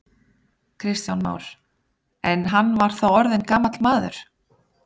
Kristján Már: En hann var þá orðinn gamall maður?